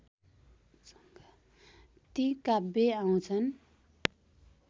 ती काव्य आउँछन्